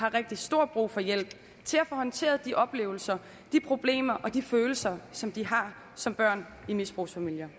har rigtig stor brug for hjælp til at få håndteret de oplevelser de problemer og de følelser som de har som børn i misbrugsfamilier